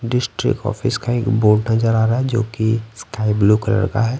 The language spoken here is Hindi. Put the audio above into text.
डिस्ट्रिक्ट ऑफिस का एक बोर्ड नजर आ रहा है जोकि स्काई ब्लू कलर का है।